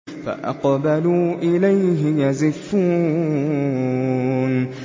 فَأَقْبَلُوا إِلَيْهِ يَزِفُّونَ